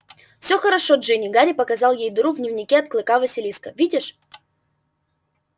всё хорошо джинни гарри показал ей дыру в дневнике от клыка василиска видишь